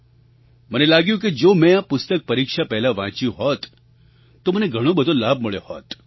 મને લાગ્યું કે જો મેં આ પુસ્તક પરીક્ષા પહેલાં વાંચ્યું હોત તો મને ઘણો લાભ મળ્યો હોત